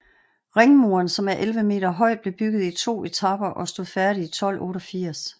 Ringmuren som er 11 meter høj blev bygget i to etaper og stod færdig i 1288